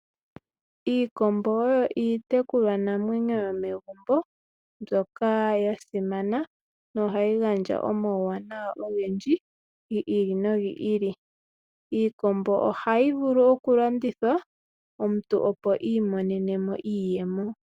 Iikombo oyo iitekulwanamwenyo yomegumbo, mbyoka ya simana, nohayi gandja omauwanawa ogendji, gi ili no gili. Iikombo ohayi vulu okulandithwa, omuntu opo iimonene mo iiyemo.